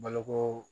Baloko